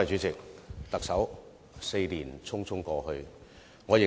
特首 ，4 年匆匆過去。